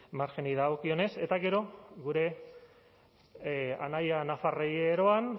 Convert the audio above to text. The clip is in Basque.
margeni dagokionez eta gero gure anaia nafarrei eroan